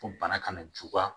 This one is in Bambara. Ko bana kana juguya